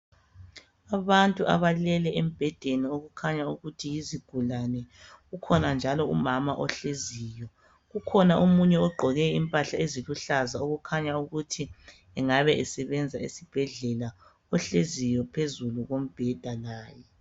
Abantu abalele embhedeni okukhanya ukuthi yizigulane. Ukhona njalo umama ohleziyo. Ukhona omunye ogqoke impahla eziluhlaza, okukhanya ukuthi angabe esebenza esibhedlela, ohleziyo phezu kombheda laye.